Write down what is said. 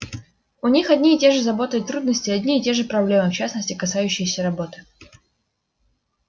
у них одни и те же заботы и трудности одни и те же проблемы в частности касающиеся работы